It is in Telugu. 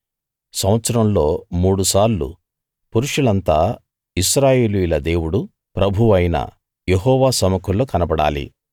సంవత్సరంలో మూడుసార్లు పురుషులంతా ఇశ్రాయేలియుల దేవుడు ప్రభువు అయిన యెహోవా సముఖంలో కనబడాలి